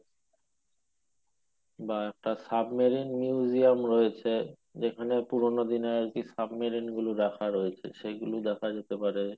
বা একটা submarine museum রয়েছে যেখানে পুরনো দিনের আরকি submarine গুলো রাখা রয়েছে সেইগুলো দেখা যেতে পারে